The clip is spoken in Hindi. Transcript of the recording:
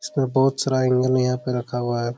इसमें बहुत सारा एंगल यहां पर रखा हुआ है|